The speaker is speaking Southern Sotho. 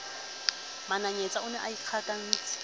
mananyetsa o ne a ikgakantse